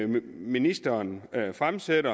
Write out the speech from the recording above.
ministeren har fremsat